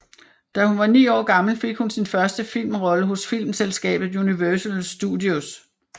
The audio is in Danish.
Da hun var 9 år gammel fik hun sin første filmrolle hos filmselskabet Universal Studios